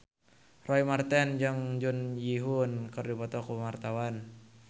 Roy Marten jeung Jun Ji Hyun keur dipoto ku wartawan